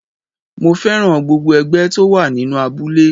Mo féràn gbogbo ẹgbẹ́ tó wà nínú abúlé.